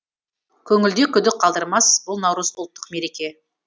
көңілде күдік қалдырмас бұл наурыз ұлттық мереке